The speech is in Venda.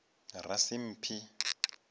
rasimphi